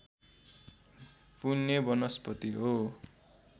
फुल्ने वनस्पति हो